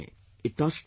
It touched my heart